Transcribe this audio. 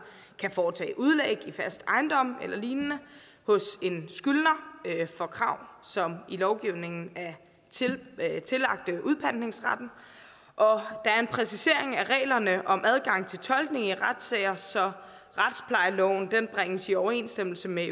kan foretage udlæg i fast ejendom eller lignende hos en skyldner for krav som i lovgivningen er tillagt udpantningsretten og der er en præcisering af reglerne om adgang til tolkning i retssager så retsplejeloven bringes i overensstemmelse med